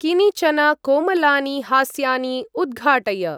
किनिचन कोमलानि हास्यानि उद्घाटय।